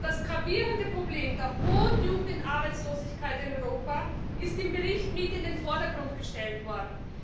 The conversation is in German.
Das gravierende Problem der hohen Jugendarbeitslosigkeit in Europa ist im Bericht mit in den Vordergrund gestellt worden.